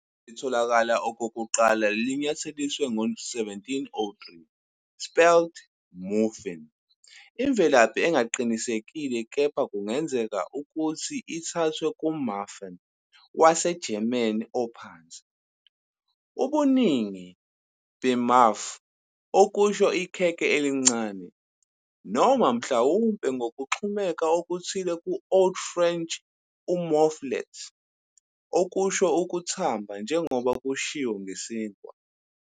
Igama litholakala okokuqala linyathelisiwe ngo-1703, spelled "moofin", inemvelaphi engaqinisekile kepha kungenzeka ukuthi ithathwe "kuMuffen" waseGerman ophansi, ubuningi "beMuffe" okusho ikhekhe elincane, noma mhlawumbe ngokuxhumeka okuthile ku-Old French "moufflet" okusho ukuthamba, njengoba kushiwo ngesinkwa.